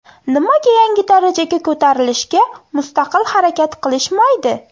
Nimaga yangi darajaga ko‘tarilishga mustaqil harakat qilishmaydi?